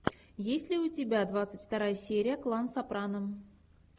есть ли у тебя двадцать вторая серия клан сопрано